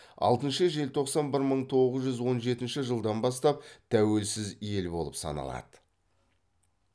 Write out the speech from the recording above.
алтыншы желтоқсан бір мың тоғыз жүз он жетінші жылдан бастап тәуелсіз ел болып саналады